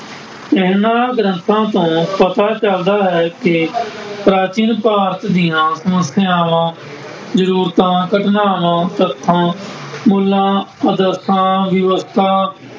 ਇਹਨਾ ਗ੍ਰੰਥਾਂ ਤੋਂ ਪਤਾ ਚੱਲਦਾ ਹੈ ਕਿ ਪ੍ਰਾਚੀਨ ਭਾਰਤ ਦੀਆਂ ਸਮੱਸਿਆਵਾਂ, ਜ਼ਰੂਰਤਾਂ, ਘਟਨਾਵਾਂ ਪੱਖੋਂ ਮੁੱਲਾਂ, ਆਦਰਸ਼ਾਂ, ਵਿਵਸਥਾ